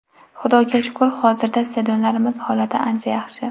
Xudoga shukr, hozirda stadionlarimiz holati ancha yaxshi.